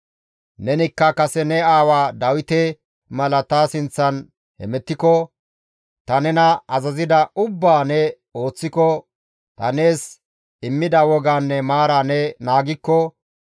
«Nenikka kase ne aawa Dawite mala ta sinththan hemettiko, ta nena azazida ubbaa ne ooththiko, ta nees immida wogaanne maara ne naagikko,